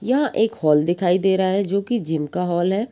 यह एक हॉल दिखाई दे रहा है जोकि जिम का हॉल है ।